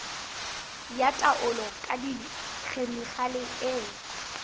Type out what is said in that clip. ya taolo ka dikhemikhale e